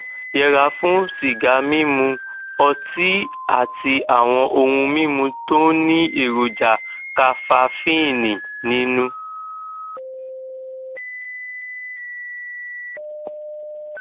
jọwọ yẹra fún sìgá mímu ọtí àti àwọn ohun mímu tó ní èròjà kafafíìnì nínú